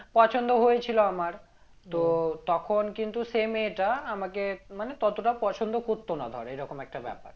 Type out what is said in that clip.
পছন্দ হয়েছিল আমার তো তখন কিন্তু সেই মেয়েটা আমাকে মানে ততটা পছন্দ করতো না ধর এরকম একটা ব্যাপার